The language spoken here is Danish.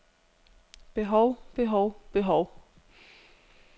behov behov behov